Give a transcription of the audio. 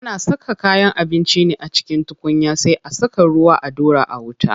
Ana saka kayan abinci ne a cikin tukunya sai a saka ruwa a ɗora a wuta.